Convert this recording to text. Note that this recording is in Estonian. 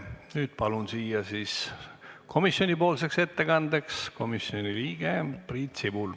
Nüüd palun siia siis komisjoni ettekandeks komisjoni liikme Priit Sibula.